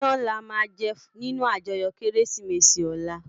Iyän làmá jè ninú àjòyò Kérésimési òlá